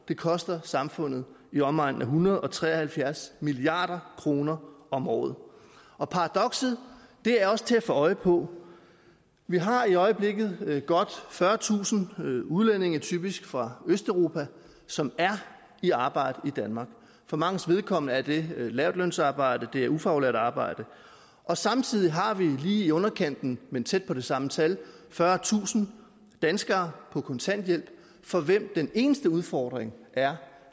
det koster samfundet i omegnen af en hundrede og tre og halvfjerds milliard kroner om året og paradokset er også til at få øje på vi har i øjeblikket godt fyrretusind udlændinge typisk fra østeuropa som er i arbejde i danmark for manges vedkommende er det lavtlønsarbejde det er ufaglært arbejde og samtidig har vi lige i underkanten men tæt på det samme tal fyrretusind danskere på kontanthjælp for hvem den eneste udfordring er